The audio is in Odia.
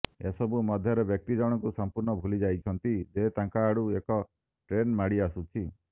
ଏସବୁ ମଧ୍ୟରେ ବ୍ୟକ୍ତି ଜଣଙ୍କୁ ସମ୍ପୂର୍ଣ୍ଣ ଭୁଲିଯାଇଛନ୍ତି ଯେ ତାଙ୍କ ଆଡକୁ ଏକ ଟ୍ରେନ୍ ମାଡି ଆସୁଛି